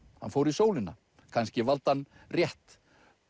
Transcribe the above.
hann fór í sólina kannski valdi hann rétt